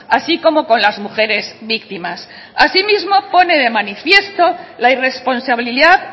así como con las mujeres víctimas asimismo pone de manifiesto la irresponsabilidad